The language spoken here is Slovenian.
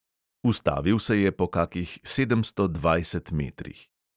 Ustavil se je po kakih sedemsto dvajset metrih.